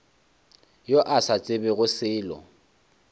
yo a sa tsebego selo